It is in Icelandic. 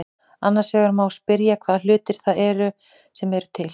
Annars vegar má spyrja hvaða hlutir það eru sem eru til.